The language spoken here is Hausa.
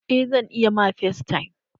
Eh zan iya ma factime.